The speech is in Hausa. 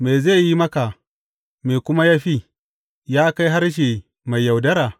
Me zai yi maka, me kuma ya fi, ya kai harshe mai yaudara?